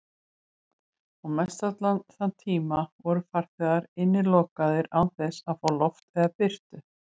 Og mestallan þann tíma voru farþegar innilokaðir án þess að fá loft eða birtu.